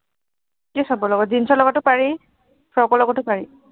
কি চবৰ লগত? জীনচৰ লগততো পাৰি, ফ্ৰকৰ লগতো পাৰি।